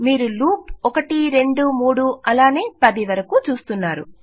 మీరు లూప్ 123 అలానే 10 వరకూ చూస్తున్నారు